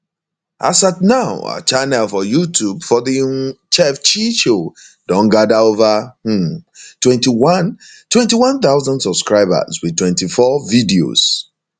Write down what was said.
as at now her channel for youtube for the um chef chi show don gada ova um twenty one twenty one thousand subscribers wit 24 videos